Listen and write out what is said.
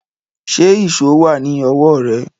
Ṣé ìṣó wà ní ọwọ́ rẹ